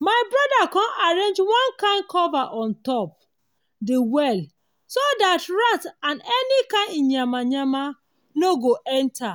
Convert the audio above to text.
my brother com arrange one kin cover on top de well so that rats and any kind iyamayama nor go enter.